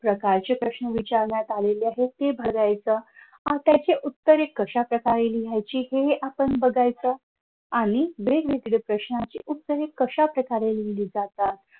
प्रकारचे प्रश्न विचारण्यात आलेले आहेत ते बघायचं आणि त्याचे उत्तरे कश्या प्रकारे लिहायचे हेही आपण बघायचं आणि वेगवेगळ्या प्रश्नांची उत्तरे कशा प्रकारे लिहिली जातात.